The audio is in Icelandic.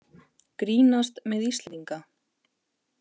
Grínast með Íslendinga